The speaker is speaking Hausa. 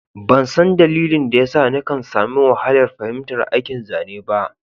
Ban san dalilin da ya sa nikan sami wahalar fahimtar aikin zane b